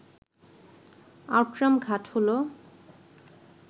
Outram Ghat হল